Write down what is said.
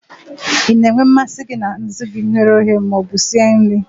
Ị na-enwe mmasị na azụ gị e ghere eghe ma ọ bụ sie nri?